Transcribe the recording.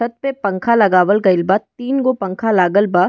छत पे पंखा लगावल गईल बा तीन गो पंखा लागल बा।